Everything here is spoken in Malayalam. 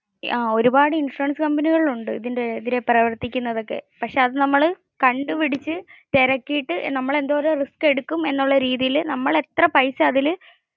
ഒരുപാടു ഇൻഷുറൻസ് കമ്പനികൾ ഉണ്ട് ഇതിന്റെ പ്രവർത്തിക്കുന്നതൊക്കെ. പക്ഷെ അത് നമ്മൾ കണ്ടുപിടിച്ച, തെരക്കിയിട്ട് നമ്മൾ എന്തോരം റിസ്ക് എടുക്കും എന്നുള്ള രീതിയിൽ, നമ്മൾ എത്ര പൈസ അതിൽ.